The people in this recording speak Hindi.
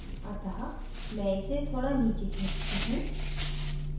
अतः मैं इसे थोड़ा नीचे खींचती हूँ